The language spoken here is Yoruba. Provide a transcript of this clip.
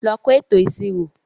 Lọ kọ́ ètò ìṣirò.